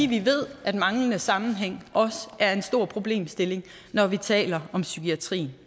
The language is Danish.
vi ved at en manglende sammenhæng også er en stor problemstilling når vi taler om psykiatrien